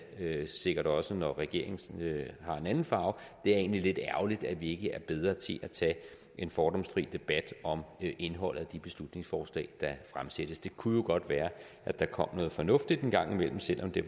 sikkert også når regeringen har en anden farve det er egentlig lidt ærgerligt at vi ikke er bedre til at tage en fordomsfri debat om indholdet af de beslutningsforslag der fremsættes det kunne jo godt være at der kom noget fornuftigt en gang imellem selv om det